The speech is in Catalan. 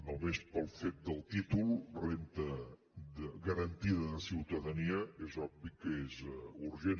només pel fet del títol renda garantida de ciutadania és obvi que és urgent